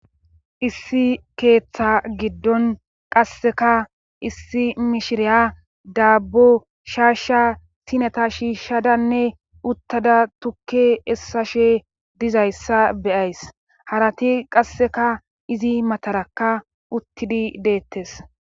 Issi keeththa giddon qasseka issi mishiriya daabbo shaasha sineta shiishshadanne uttada tukke essa she dizayssa beyays harati qasseka izi matarakka uttidi deettes.